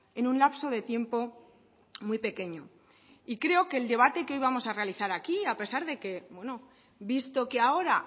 es un lapso de tiempo muy pequeño creo que el debate que hoy vamos a realizar hoy aquí a pesar de que visto que ahora